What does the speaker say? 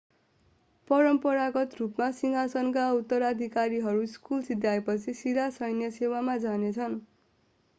परम्परागत रूपमा सिंहासनका उत्तराधिकारीहरू स्कुल सिध्याएपछि सिधा सैन्य सेवामा जानेछन्